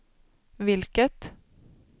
vilket